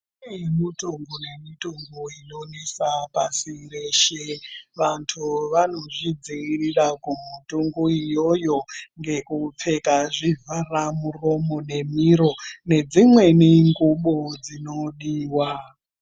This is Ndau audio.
Kune mitungo nemitungo inonesa pashi reshe vantu vanozvidzivirira kumutungo iyoyo ngekupfeka zvivhara muromo nemiro nedzimweni ngubo dzinodiwa.